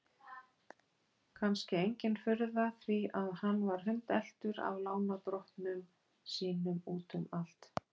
Kannski engin furða því að hann var hundeltur af lánardrottnum sínum út um allt.